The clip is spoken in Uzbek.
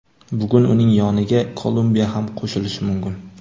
Bugun uning yoniga Kolumbiya ham qo‘shilishi mumkin.